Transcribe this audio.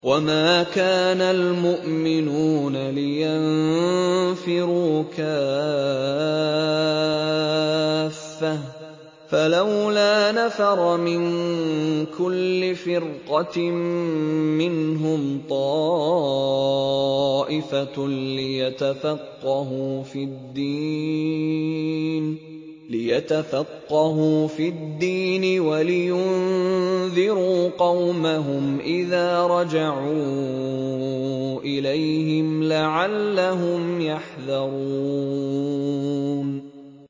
۞ وَمَا كَانَ الْمُؤْمِنُونَ لِيَنفِرُوا كَافَّةً ۚ فَلَوْلَا نَفَرَ مِن كُلِّ فِرْقَةٍ مِّنْهُمْ طَائِفَةٌ لِّيَتَفَقَّهُوا فِي الدِّينِ وَلِيُنذِرُوا قَوْمَهُمْ إِذَا رَجَعُوا إِلَيْهِمْ لَعَلَّهُمْ يَحْذَرُونَ